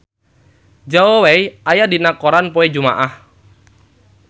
Zhao Wei aya dina koran poe Jumaah